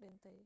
dhintay